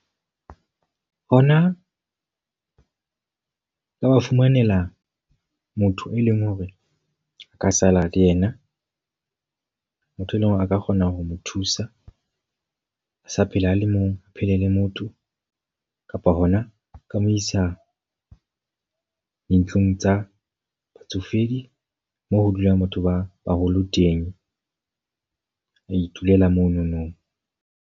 Hona ho ka ba fumanela motho e leng hore a ka sala le yena. Motho e leng hore a ka kgona ho mo thusa. A sa phela a le mong, a phele le motho. Kapa hona ka mo isa dintlong tsa batsofedi moo ho dulang batho ba baholo teng. A itulela monono.